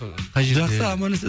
қай жерде жақсы аман есен